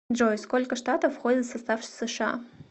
джой сколько штатов входят в состав сша